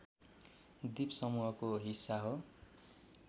द्वीपसमूहको हिस्सा हो